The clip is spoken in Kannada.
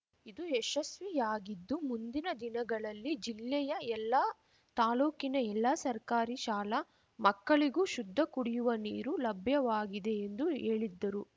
ಇದು ಯಶಸ್ವಿಯಾಗಿದ್ದು ಮುಂದಿನ ದಿನಗಳಲ್ಲಿ ಜಿಲ್ಲೆಯ ಎಲ್ಲಾ ತಾಲೂಕಿನ ಎಲ್ಲಾ ಸರ್ಕಾರಿ ಶಾಲಾ ಮಕ್ಕಳಿಗೂ ಶುದ್ಧ ಕುಡಿಯುವ ನೀರು ಲಭ್ಯವಾಗಿದೆ ಎಂದು ಹೇಳಿದ್ದರು